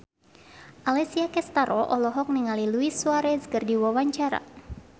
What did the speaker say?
Alessia Cestaro olohok ningali Luis Suarez keur diwawancara